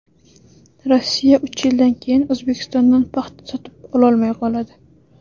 Rossiya uch yildan keyin O‘zbekistondan paxta sotib ololmay qoladi.